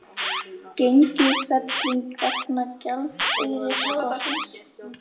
Gengisfelling vegna gjaldeyrisskorts